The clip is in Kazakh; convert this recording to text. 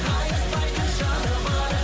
қайыспайтын жаны бар